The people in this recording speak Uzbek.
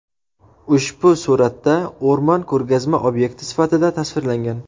Ushbu suratda o‘rmon ko‘rgazma obyekti sifatida tasvirlangan.